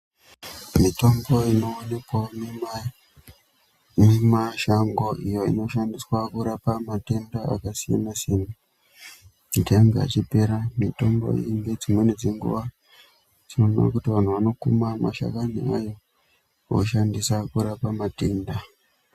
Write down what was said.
Mitombo inoonekwawo mumashango iyo inoshandiswa kurapa matenda akasiyana siyana kuti ange achipera. Mitombo iyi ngedzimweni dzenguwa tinoona kuti vanhu vanokuma mashakani ayo voshandisa kurape matenda .